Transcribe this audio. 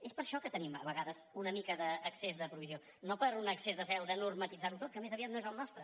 és per això que tenim a vegades una mica d’excés de provisió no per un excés de zel de normativitzar ho tot que més aviat no és el nostre